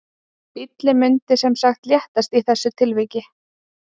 Bíllinn mundi sem sagt léttast í þessu tilviki.